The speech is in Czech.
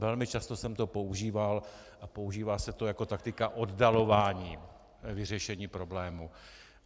Velmi často jsem to používal a používá se to jako taktika oddalování vyřešení problému.